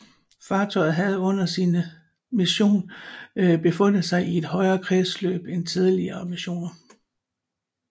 Fartøjet havde under sine mission befundet sig i et højere kredsløb end tidligere missioner